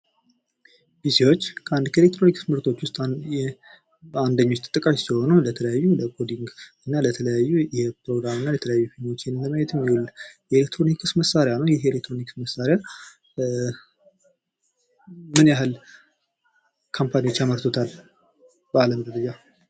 ፒሲዎች ከኤሌክትሮኒክስ እቃዎች ንደኞች ተጠቃሾች ሲሆኑ ለተለያዩ ለኮዲግ እና ለተለያዩ ፕሮግራምና ፊልሞችን ለማዬትየሚውል የኤሌክትሮኒክስ መሳርያ ነው። ይህ የኤሌክትሮኒክስ መሳርያ ምን ያህል ካፓኒዎች ያመርቱታል በአለም ዙርያ?